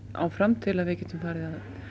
áfram til að við getum farið